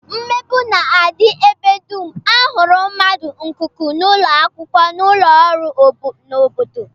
Mmegbu na-adị ebe dum a hụrụ mmadụ, n'ikuku, n'ụlọakwụkwọ, n'ụlọọrụ, n'obodo